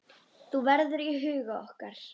Þú verður í huga okkar.